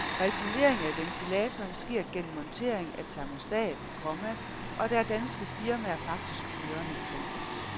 Regulering af ventilatoren sker gennem montering af termostat, komma og der er danske firmaer faktisk førende. punktum